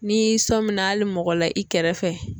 N'i sɔminna ali mɔgɔ la i kɛrɛ fɛ